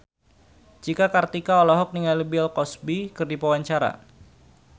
Cika Kartika olohok ningali Bill Cosby keur diwawancara